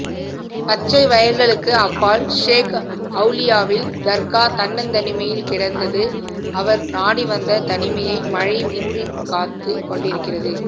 பச்சைவயல்களுக்கு அப்பால் ஷேக் ஔலியாவின் தர்கா தன்னந்தனிமையில் கிடந்தது அவர் நாடிவந்த தனிமையை மழை மூடிக்காத்துக் கொண்டிருக்கிறது